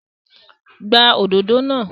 Gbá òdodo náà!